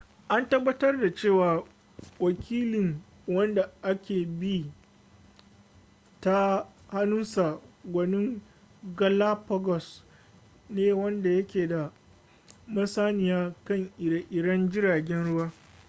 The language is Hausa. a tabbatar da cewa wakili wanda aka bi ta hannunsa gwanin galapagos ne wanda yake da masaniya kan ire-iren jiragen ruwa